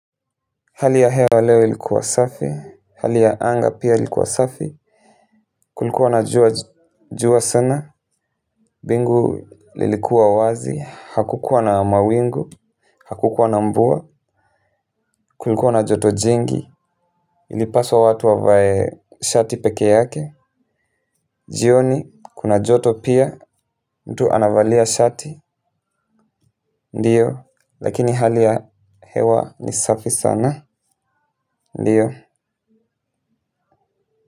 Hali ya hewa leo ilikuwa safi, hali ya anga pia ilikuwa safi kulikuwa na jua sana, bingu lilikuwa wazi, hakukuwa na mawingu, hakukuwa na mvua, kulikuwa na joto jingi ilipaswa watu wavae shati peke yake, jioni kuna joto pia, mtu anavalia shati, ndiyo, lakini hali ya hewa ni safi sana, ndiyo.